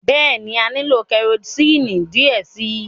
Bẹẹni, a nilo kẹrosini diẹ sii